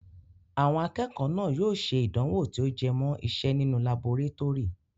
Àwọn akẹ́kọ̀ọ́ náà yóò ṣe ìdánwò tí ó jẹ mọ́ ìse nínú laborétórì.